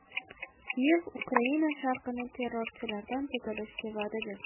Kiyev Ukraina sharqini terrorchilardan tozalashga va’da berdi.